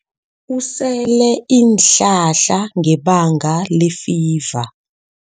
Usele iinhlahla ngebanga lefiva.